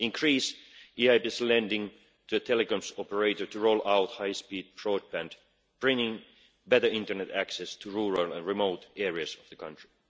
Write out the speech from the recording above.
In Greece, the EIB is lending to a telecoms operator to roll out high speed broadband, bringing better internet access to rural and remote areas of the country.